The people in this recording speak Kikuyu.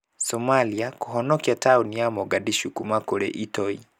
Somalia kũhonokia taũni ya Mogadishu kuma kũrĩ itoi.